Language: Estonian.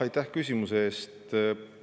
Aitäh küsimuse eest!